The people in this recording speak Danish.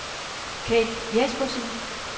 Kate Jespersen